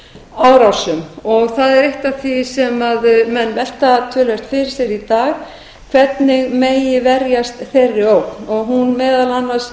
árásum það er eitt af því sem menn velta töluvert fyrir sér í dag hvernig megi verjast þeirri ógn og hún meðal annars